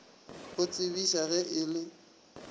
go tsebiša ge e le